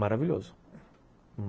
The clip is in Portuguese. Maravilhoso.